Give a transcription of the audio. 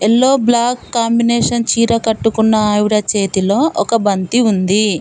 Yellow black combination చీర కట్టుకున్న ఆవిడ చేతిలో ఒక బంతి ఉంది.